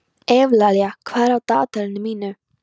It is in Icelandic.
Evlalía, hvað er á dagatalinu mínu í dag?